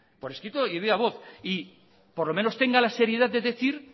por escrito y por viva voz por lo menos tenga la seriedad de decir